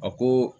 A ko